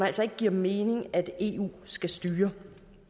altså ikke giver mening at eu skal styre